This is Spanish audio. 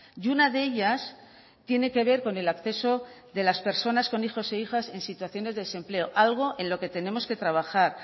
y una de ellas tiene que ver con el acceso de las personas con hijos e hijas en situaciones de desempleo algo en lo que tenemos que trabajar